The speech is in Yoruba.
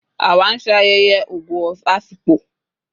Àwá nse ayeye "ogo of Afikpo"